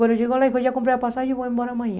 Quando chegou lá, já comprei a passagem e vou embora amanhã.